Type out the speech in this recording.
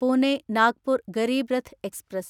Pune Nagpur Garib Rath express